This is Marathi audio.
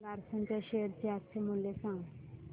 लार्सन च्या शेअर चे आजचे मूल्य सांगा